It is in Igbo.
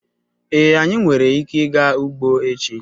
Ee, anyị nwere ike ịga ugbo echi